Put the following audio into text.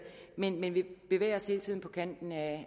men vi vi bevæger os hele tiden på kanten af